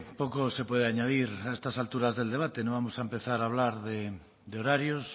poco se puede añadir a estas alturas del debate no vamos a empezar a hablar de horarios